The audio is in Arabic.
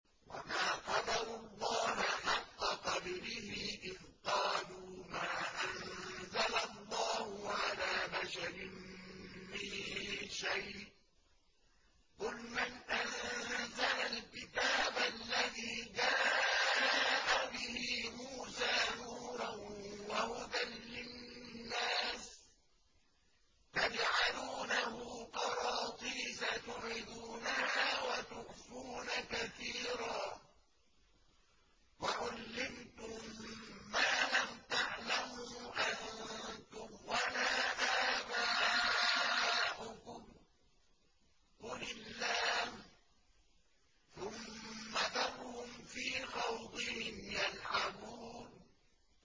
وَمَا قَدَرُوا اللَّهَ حَقَّ قَدْرِهِ إِذْ قَالُوا مَا أَنزَلَ اللَّهُ عَلَىٰ بَشَرٍ مِّن شَيْءٍ ۗ قُلْ مَنْ أَنزَلَ الْكِتَابَ الَّذِي جَاءَ بِهِ مُوسَىٰ نُورًا وَهُدًى لِّلنَّاسِ ۖ تَجْعَلُونَهُ قَرَاطِيسَ تُبْدُونَهَا وَتُخْفُونَ كَثِيرًا ۖ وَعُلِّمْتُم مَّا لَمْ تَعْلَمُوا أَنتُمْ وَلَا آبَاؤُكُمْ ۖ قُلِ اللَّهُ ۖ ثُمَّ ذَرْهُمْ فِي خَوْضِهِمْ يَلْعَبُونَ